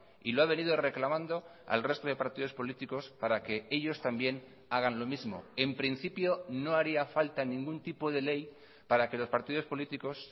y lo ha venido reclamando al resto de partidos políticos para que ellos también hagan lo mismo en principio no haría falta ningún tipo de ley para que los partidos políticos